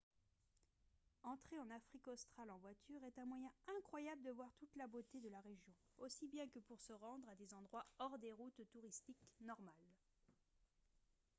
entrer en afrique australe en voiture est un moyen incroyable de voir toute la beauté de la région aussi bien que pour se rendre à des endroits hors des routes touristiques normales